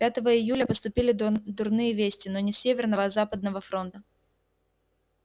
пятого июля поступили дурные вести но не с северного а с западного фронта